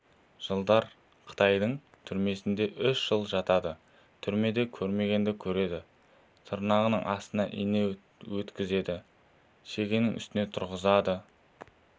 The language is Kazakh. жылдар қытайдың түрмесінде үш жыл жатады түрмеде көрмегенді көреді тырнағының астына ине өткізеді шегенің үстіне тұрғызады